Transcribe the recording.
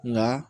Nka